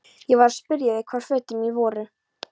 Ég var að spyrja þig hvar fötin mín væru?